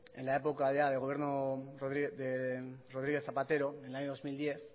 en la época ya de gobierno de rodríguez zapatero en el año dos mil diez